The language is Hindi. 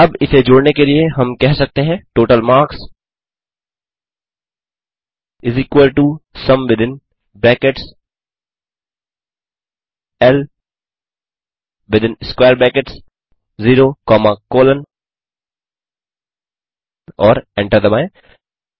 अब इसे जोड़ने के लिए हम कह सकते हैं total marks is equal to sum within brackets L within square brackets 0 comma colon और एंटर दबाएँ